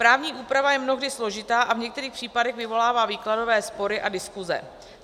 Právní úprava je mnohdy složitá a v některých případech vyvolává výkladové spory a diskuse.